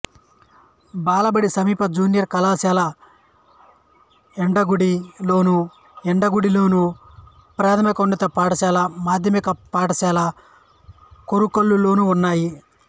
బాలబడి సమీప జూనియర్ కళాశాల యండగండి లోను యండగండిలోను ప్రాథమికోన్నత పాఠశాల మాధ్యమిక పాఠశాల కోరుకల్లులోనులోనూ ఉన్నాయి